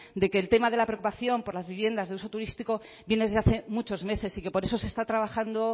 de que el tema de la preocupación por las viviendas de uso turístico viene desde hace muchos meses y que por eso se está trabajando